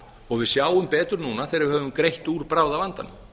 og við sjáum betur núna þegar við höfum greitt úr bráðavandanum